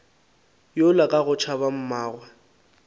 yola ka go tšhaba mmagwe